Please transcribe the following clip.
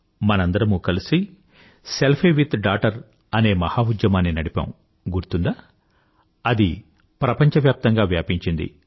మనందరమూ కలిసి selfie with daughter అనే మహా ఉద్యమాన్ని నడిపాము గుర్తుందా అది ప్రపంచవ్యాప్తంగా వ్యాపించింది